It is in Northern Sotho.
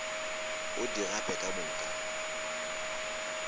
o di gape ka moka